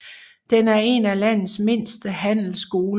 Den er en af landets mindste handelsskoler